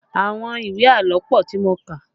Àwọn ìwé àlọ́ pọ tí mo kà